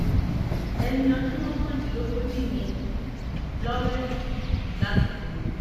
ẹni ọdún mọ́kàndínlógójì ni lawrence lásìkò náà